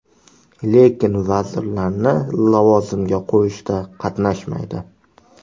Lekin vazirlarni lavozimga qo‘yishda qatnashmaydi.